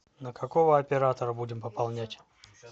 на какого оператора будем пополнять